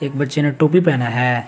बच्चे ने टोपी पहना है।